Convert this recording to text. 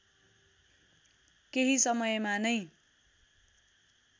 केही समयमा नै